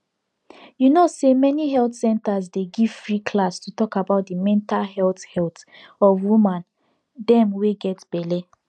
you no say many health centers dey give free class to talk about the mental health health of woman dem wey get belle